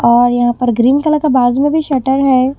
और यहां पर ग्रीन कलर का बाजू मे भी शटर है।